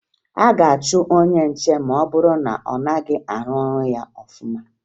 A ga-achụ onye nche ma ọ bụrụ na ọ gaghị arụ ọrụ ya ọfụma